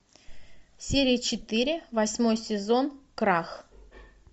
серия четыре восьмой сезон крах